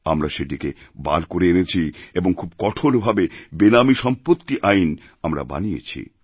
আমরা সেটিকে বার করে এনেছি এবং খুবকঠোরভাবে বেনামী সম্পত্তি আইন আমরা বানিয়েছি